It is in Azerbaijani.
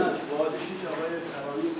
Vadishay, Ağa.